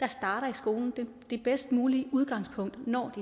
skolen det bedst mulige udgangspunkt når de